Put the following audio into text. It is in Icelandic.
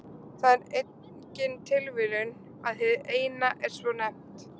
Það er engin tilviljun að hið Eina er svo nefnt.